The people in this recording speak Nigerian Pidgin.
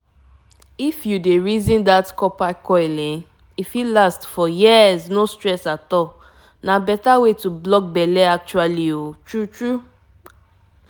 once dem put coil for u e no need plenty check-check you fit forget pill matter you know small pause.